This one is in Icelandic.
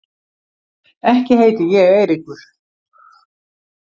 Ekki heiti ég Eiríkur